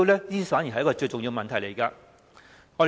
這反而是最重要的問題。